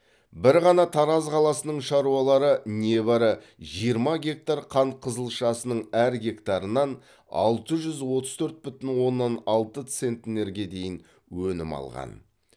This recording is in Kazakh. бір ғана тараз қаласының шаруалары небәрі жиырма гектар қант қызылшасының әр гектарынан алты жүз отыз төрт бүтін оннан алты центнерге дейін өнім алған